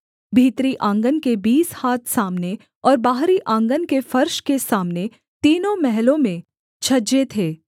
भीतरी आँगन के बीस हाथ सामने और बाहरी आँगन के फर्श के सामने तीनों महलों में छज्जे थे